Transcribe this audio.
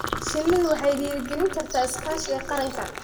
Shinnidu waxay dhiirigelin kartaa iskaashiga qaranka.